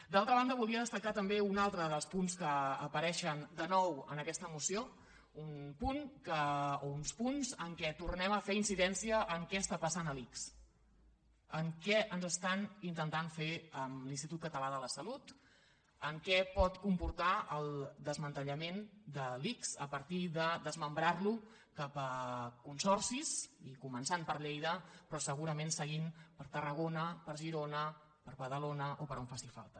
d’altra banda volia destacar també un altre dels punts que apareixen de nou en aquesta moció un punt o uns punts en què tornem a fer incidència en què està passant a l’ics en què ens estan intentant fer amb l’institut català de la salut en què pot comportar el desmantellament de l’ics a partir de desmembrarlo cap a consorcis i començant per lleida però segurament seguint per tarragona per girona per badalona o per on faci falta